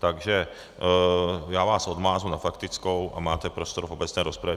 Takže já vás odmáznu na faktickou a máte prostor v obecné rozpravě.